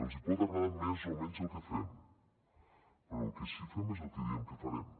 els hi pot agradar més o menys el que fem però el que sí que fem és el que diem que farem